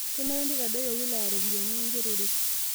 Kenare neitadoyio wilaya ropiyiani engerore